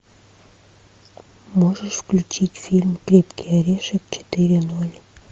можешь включить фильм крепкий орешек четыре ноль